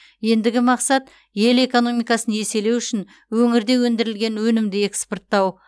ендігі мақсат ел экономикасын еселеу үшін өңірде өндірілген өнімді экспорттау